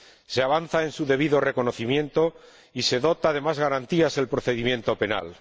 Se avanza en su debido reconocimiento y se dota de más garantías el procedimiento penal.